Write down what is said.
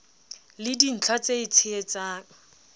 le dintlha tse e tshehetsang